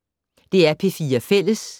DR P4 Fælles